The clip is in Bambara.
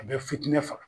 A bɛ fitinɛ faga